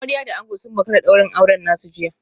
Amarya da ango sun makara daurin auren nasu jiya